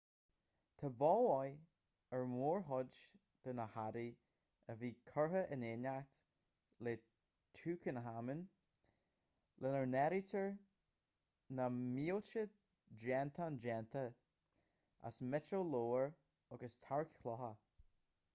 tá bail mhaith ar mhórchuid de na hearraí a bhí curtha in éineacht le tutankhamun lena n-áirítear na mílte déantán déanta as miotal lómhar agus tearc-chlocha